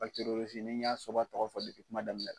ni n y'a soba tɔgɔ fɔ depi kuma daminɛ